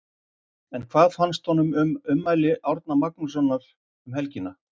En hvað fannst honum um ummæli Árna Magnússon um helgina?